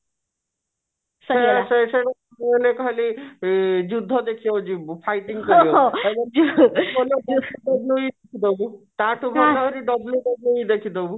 film ରେ ତାହାଲେ ଯୁଦ୍ଧ ଦେଖିବାକୁ ଯିବୁ fighting ଦେଖିବାକୁ WWE ଦେଖି ଦବୁ